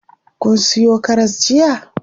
Kun siyo karas jiya?